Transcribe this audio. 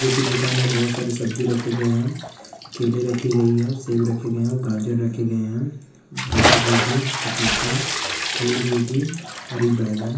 ये एक दुकान है बहोत सारी सब्जी रखी गए है केले रखी गई हैं और सेब रखे गए हैं और गाजर रखे गए हैं गांठ गोभी पपीता फूल गोभी हरी बैंगन --